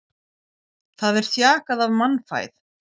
Það er þjakað af mannfæð.